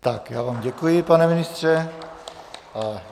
Tak, já vám děkuji, pane ministře.